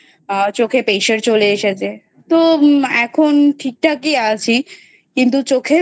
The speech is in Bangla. চোখে Pressure চলে এসেছে তো এখন ঠিক ঠাক ই আছি কিন্তু চোখে